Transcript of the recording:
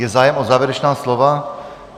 Je zájem o závěrečná slova?